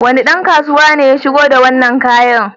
Wane ɗan kasuwa ne ya shigo da wannan kayan?